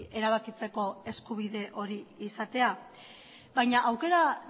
erabakitzeko eskubide hori izatea baina aukera